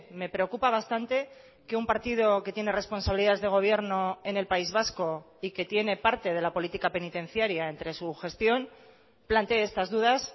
me preocupa bastante que un partido que tiene responsabilidades de gobierno en el país vasco y que tiene parte de la política penitenciaria entre su gestión plantee estas dudas